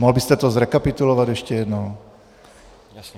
Mohl byste to zrekapitulovat ještě jednou?